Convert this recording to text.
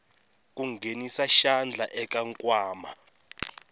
ku nghenisa xandla eka nkwama